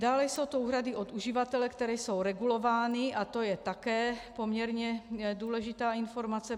Dále jsou to úhrady od uživatele, které jsou regulovány, a to je také poměrně důležitá informace.